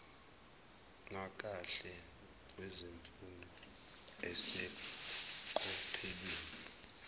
nakahle kwemfundo eseqophelweni